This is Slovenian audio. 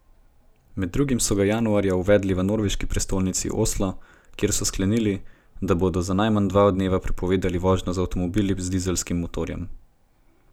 Med drugim so ga januarja uvedli v norveški prestolnici Oslo, kjer so sklenili, da bodo za najmanj dva dneva prepovedali vožnjo z avtomobili z dizelskim motorjem.